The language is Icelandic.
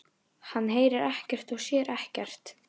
Hann heyrir ekkert og sér ekkert.